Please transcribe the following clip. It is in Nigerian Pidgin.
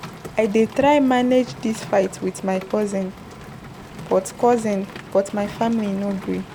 I dey try manage dis fight wit my cousin but cousin but my family no gree.